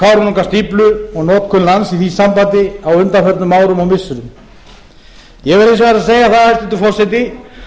kárahnjúkastíflu og notkun lands í því sambandi á undanförnum árum og missirum ég verð hins vegar að segja hæstvirtur forseti